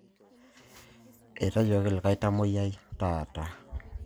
Etayioki likai tamuoyia taata